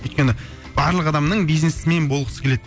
өйткен барлық адамның бизнесмен болғысы келеді